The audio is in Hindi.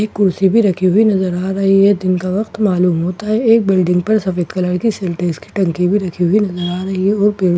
एक कुर्सी भी रखी हुई नजर आ रही है दिन का वक़्त मालूम होता है एक बिल्डिंग पर सफेद कलर की टंकी भी रखी हुई नजर आ रही है और --